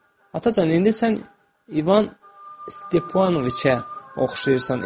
Atacan, indi sən İvan Stepanoviçə oxşayırsan.